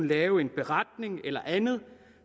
lave en beretning eller andet